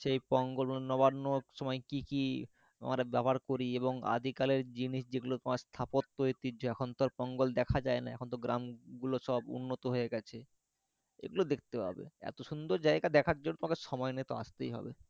সেই পঙ্গাল বা নবান্নর সময় কি কি আমরা ব্যবহার করি এবং আদিকালের জিনিস যেগুলো তোমার স্থাপত্য ঐতিহ্য এখন তো আর পঙ্গাল দেখা যায় না এখন তো গ্রাম গুলো সব উন্নত হয়ে গেছে এগুলো দেখতে পাবে, এত সুন্দর জায়গা দেখার জন্য তোমাকে সময় নিয়ে তো আসতেই হবে